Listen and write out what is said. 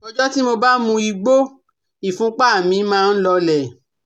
Ọjọ́ tí mo bá mu igbó ìfúnpá mi máa ń lọọlẹ̀